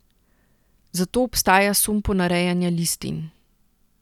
Zato obstaja sum ponarejanja listin.